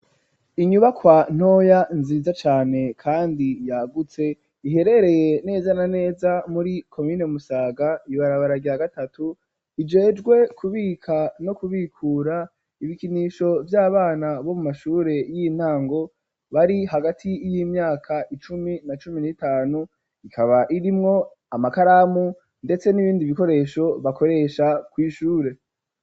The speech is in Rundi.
Inyubakwa ntoya nziza cane kandi yagutse iherereye neza na neza muri komine musaga ibarabara rya gatatu ijejwe kubika no kubikura ibikinisho vy'abana bo mu mashure y'intango bari hagati y'imyaka icumi na cumi n'itanu ikaba irimwo amakaramu ndetse n'ibindi bikoresho bakoresha kw'ishure.